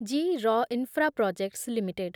G R Infraprojects limited